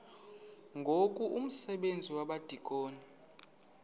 ngoku umsebenzi wabadikoni